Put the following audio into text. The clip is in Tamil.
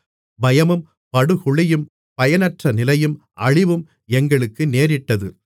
பயமும் படுகுழியும் பயனற்றநிலையும் அழிவும் எங்களுக்கு நேரிட்டது